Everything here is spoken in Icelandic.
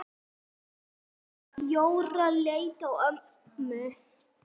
Jóra leit á ömmu.